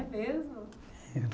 É mesmo?